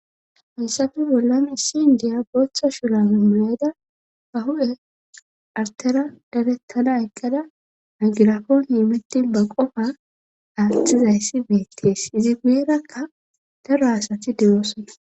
Hassape bollani issi indiya booththa shura mimuyada ba hu7e artera darettana eqqada angirakoon imittin ba qofa aatthizayssi beettees izi guyerakka daro asati dewoosona